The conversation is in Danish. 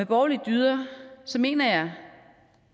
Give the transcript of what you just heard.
borgerlige dyder mener jeg